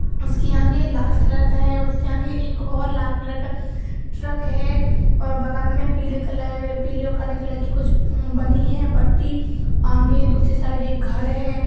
उसके आगें लाल कलर का है। उसके आगें एक और लाल कलर का ट्रक है और बगल में पीले कलर पीले और काले कलर कुछ बनी है पट्टी आंगे दूसरी साइड एक घर है।